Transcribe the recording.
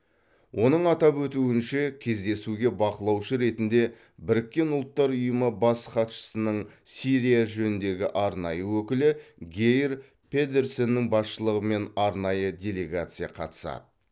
оның атап өтуінше кездесуге бақылаушы ретінде біріккен ұлттар ұйымы бас хатшысының сирия жөніндегі арнайы өкілі гейр педерсеннің басшылығымен арнайы делегация қатысады